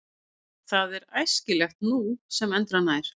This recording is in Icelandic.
Það er æskilegt nú sem endranær.